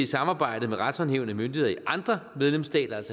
samarbejdet med retshåndhævende myndigheder i andre medlemsstater